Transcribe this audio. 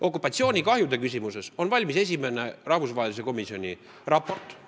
Okupatsioonikahjude küsimuses on valmis esimene rahvusvahelise komisjoni raport.